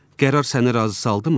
Qərar səni razı saldımı?